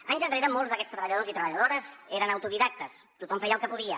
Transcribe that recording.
anys enrere molts d’aquests treballadors i treballadores eren autodidactes tothom feia el que podia